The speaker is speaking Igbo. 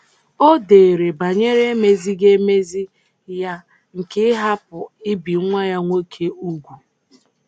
O dere banyere emezighị emezi ya nke ịhapụ ibi nwa ya nwoke úgwù.